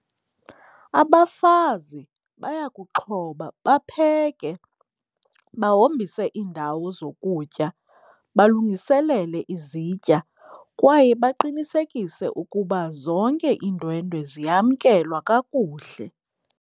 Abafazi bayakuxhoba bapheke, bahombise iindawo zokutya, balungiselele izitya kwaye baqinisekise ukuba zonke iindwendwe ziyamkelwa kakuhle.